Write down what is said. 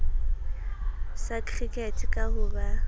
sa cricket ka ho ba